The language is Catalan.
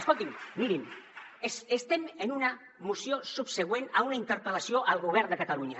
escoltin mirin estem en una moció subsegüent a una interpel·lació al govern de catalunya